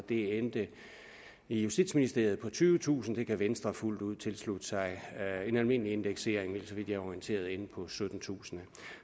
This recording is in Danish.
det endte i justitsministeriet på tyvetusind det kan venstre fuldt ud tilslutte sig en almindelig indeksering ville så vidt jeg er orienteret ende på syttentusind